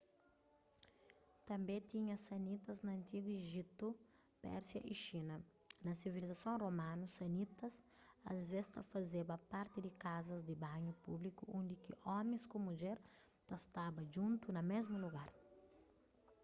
tânbe tinha sanitas na antigu ejiptu pérsia y xina na sivilizason romanu sanitas asvês ta fazeba parti di kazas di banhu públiku undi ki omis ku mudjer ta staba djuntu na mésmu lugar